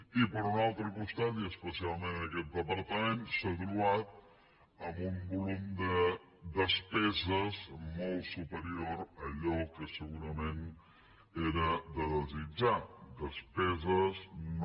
i per un altre costat i especialment aquest departament s’ha trobat amb un volum de despeses molt superior a allò que segurament era de desitjar despeses no